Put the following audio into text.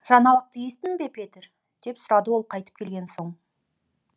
жаңалықты естідің бе петер деп сұрады ол қайтып келген соң